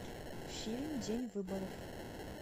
фильм день выборов